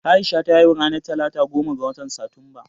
Aisha ta haihu ranar talata goma ga watan Satumba